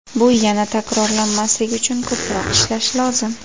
Bu yana takrorlanmasligi uchun ko‘proq ishlash lozim.